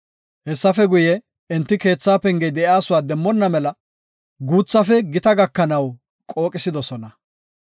Hessafe guye, enti keetha pengey de7iyasuwa demmona mela guuthafe gita gakanaw qooqisidosona.